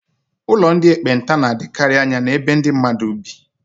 Ụlọ ndị ekpenta na-adịkarị anya n'ebe ndị mmadụ bi.